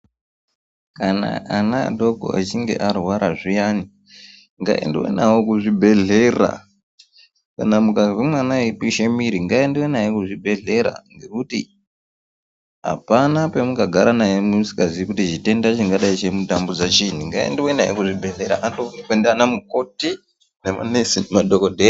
Kana ana adoko echinge arwara zviyani ngaendwe nawo kuzvibhehlera kana mukazwe mwana eipishe muiri ngaendwe naye kuzvibhehlera ngekuti apana pemunga gara naye musingaziyi kuti chitenda chingadei